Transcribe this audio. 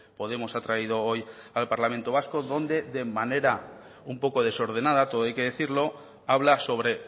podemos ha traído hoy al parlamento vasco donde de manera un poco desordenada todo hay que decirlo habla sobre